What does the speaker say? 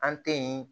An tɛ yen